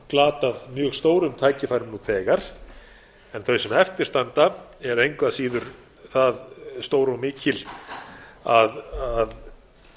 glatað mjög stórum tækifærum nú þegar en þau sem eftir standa eru engu að síður það stór og mikil að